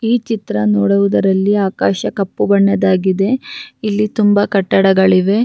ಈ ಚಿತ್ರ ನೋಡುವುದರಲ್ಲಿ ಆಕಾಶ ಕಪ್ಪು ಬಣ್ಣದಾಗಿದೆ ಇಲ್ಲಿ ತುಂಬಾ ಕಟ್ಟಡಗಳಿವೆ.